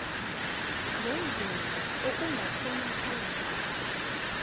ngendlela okungakhonakala ngayo